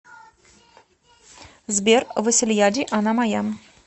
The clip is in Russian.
сбер васильяди она моя